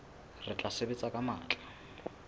re tla sebetsa ka matla